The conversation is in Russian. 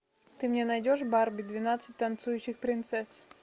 ты мне найдешь барби двенадцать танцующих принцесс